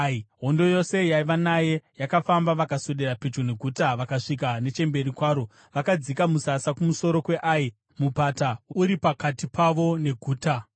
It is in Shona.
Hondo yose yaiva naye yakafamba vakaswedera pedyo neguta vakasvika nechemberi kwaro. Vakadzika musasa kumusoro kweAi, mupata uri pakati pavo neguta.